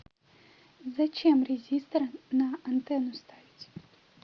зачем резистор на антену ставить